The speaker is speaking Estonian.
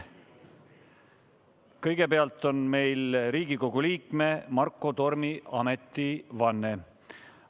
Kõigepealt on meil Riigikogu liikme Marko Tormi ametivanne.